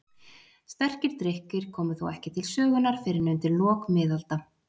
Sterkir drykkir komu þó ekki til sögunnar fyrr en undir lok miðalda.